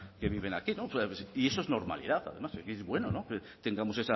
que viven aquí y eso es normalidad además que es bueno que tengamos